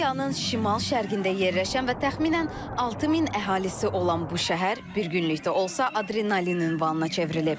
Kolumbiyanın şimal-şərqində yerləşən və təxminən 6000 əhalisi olan bu şəhər bir günlükdə olsa adrenalin ünvanına çevrilib.